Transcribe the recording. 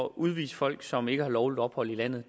udvise folk som ikke har lovligt ophold i landet